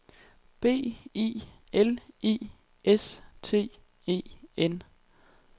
B I L I S T E N